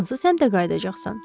Hansı səmtə qayıdacaxsan?